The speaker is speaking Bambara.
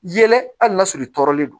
Yɛlɛ hali n'a sɔrɔ i tɔɔrɔlen don